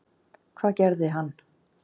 Hvað gerði hann?